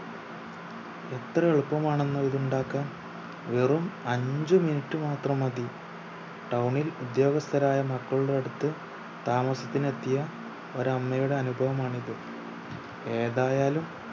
എത്ര എളുപ്പമാണെന്നോ ഇത് ഉണ്ടാക്കാൻ വെറും അഞ്ച് minute മാത്രം മതി town ഇൽ ഉദ്യോഗസ്ഥരായ മക്കളുടെ അടുത്ത് താമസത്തിനെത്തിയ ഒരമ്മയുടെ അനുഭവമാണിത് ഏതായാലും